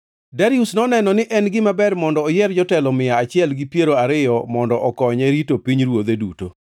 Darius noneno ni en gima ber mondo oyier jotelo mia achiel gi piero ariyo mondo okonye rito pinyruodhe duto.